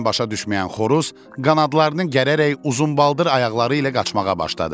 Heç nə başa düşməyən xoruz qanadlarını gərərək uzunbaldır ayaqları ilə qaçmağa başladı.